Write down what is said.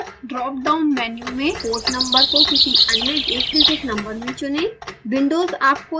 com port number drop down menu में port number को किसी अन्य एकडिजिट नंबर में चुनें